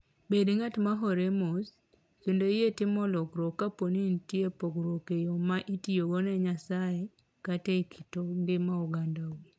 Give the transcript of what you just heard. Bed ng'at ma hore mos kendo yie timo lokruok kapo ni nitie pogruok e yo ma itiyogo ne Nyasaye kata e kit ngima ogandau.